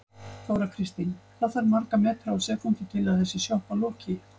Þóra Kristín: Hvað þarf marga metra á sekúndu til að þessi sjoppa loki?